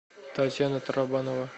татьяна тарабанова